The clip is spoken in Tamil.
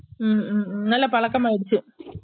உம் உம் உம் நல்ல பழக்கம் ஆய்ருச்சு